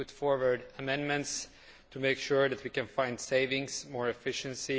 We put forward amendments to make sure that we can find savings and greater efficiency.